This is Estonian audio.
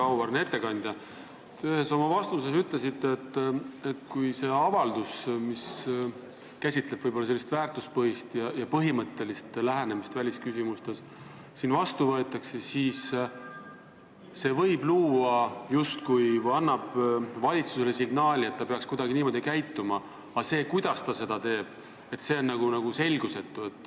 Väga auväärne ettekandja, ühes oma vastuses ütlesite, et kui see avaldus, mis käsitleb sellist väärtuspõhist ja põhimõttelist lähenemist välisküsimustes, siin vastu võetakse, siis see annab valitsusele signaali, et ta peaks kuidagi käituma, aga see, kuidas ta seda teeb, on selgusetu.